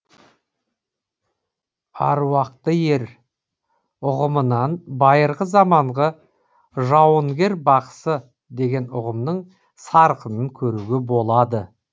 аруақты ер ұғымынан байырғы заманғы жауынгер бақсы деген ұғымның сарқынын көруге болады